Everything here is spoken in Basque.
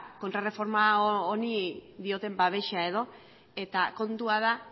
kontrarreforma honi dioten babesa edo eta kontua da